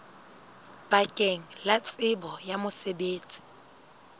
bakeng la tsebo ya mosebetsi